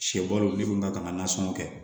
Sɛ bo olu dun ka kan ka nasɔngɔ kɛ